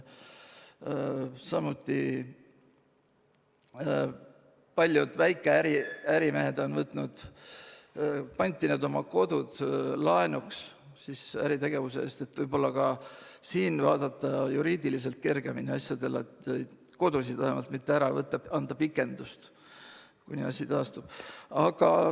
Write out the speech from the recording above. Samuti on paljud väikeärimehed pantinud oma kodud laenuks äritegevuse eest – võib-olla ka siin võiks vaadata asjadele juriidiliselt kergemini, vähemalt kodusid mitte ära võtta ja anda maksepikendust, kuni asi taastub.